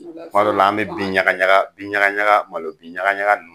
O la sisan kuma dɔw an be bin ɲaga ɲaga malo bin ɲaga ɲaga nunnu